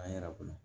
A yɛrɛ kɔnɔ